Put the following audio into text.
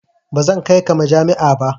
Ba zan kai ka majami'a ba.